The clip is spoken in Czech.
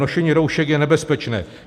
Nošení roušek je nebezpečné.